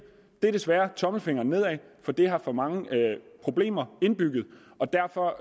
desværre tommelfingeren nedad fordi det har for mange problemer indbygget derfor